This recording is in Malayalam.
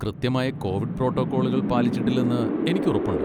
കൃത്യമായ കോവിഡ് പ്രോട്ടോക്കോളുകൾ പാലിച്ചിട്ടില്ലെന്ന് എനിക്ക് ഉറപ്പുണ്ട്.